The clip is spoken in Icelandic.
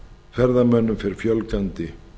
ferðamönnum fer fjölgandi